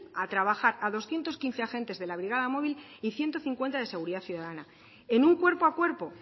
a trabajar a doscientos quince agentes de la brigada móvil y ciento cincuenta de seguridad ciudadana en un cuerpo a cuerpo